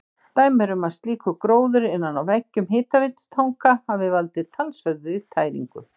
Dæmi er um að slíkur gróður innan á veggjum hitaveitutanka hafi valdið talsverðri tæringu.